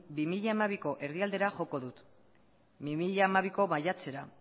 bi mila hamabiko erdialdera joko dut bi mila hamabiko maiatzera